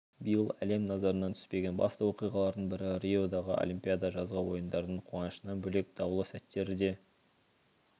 биыл әлем назарынан түспеген басты оқиғалардың бірі риодағы олимпиада жазғы ойындардың қуанышынан бөлек даулы сәттері де